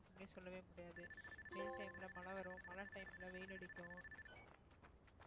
அப்படின்னு சொல்லவே முடியாது வெயில் time ல மழை வரும் மழை time ல வெயில் அடிக்கும்